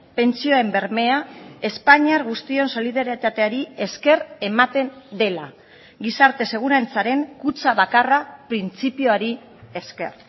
pentsioen bermea espainiar guztion solidaritateari esker ematen dela gizarte segurantzaren kutxa bakarra printzipioari esker